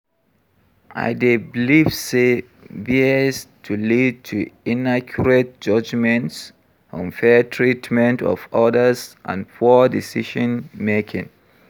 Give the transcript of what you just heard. I dey believe say bias to lead to inaccurate judgements, unfair treatment of odas and poor decision-making.